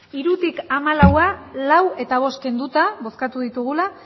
hirutik hamalaura lau eta bost kenduta bozkatu ditugula